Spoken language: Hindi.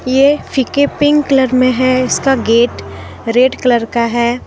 ये फीके पिंक कलर में है इसका गेट रेड कलर का है ।